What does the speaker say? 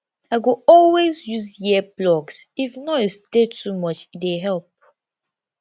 i go always always use earplugs if noise dey too much e dey help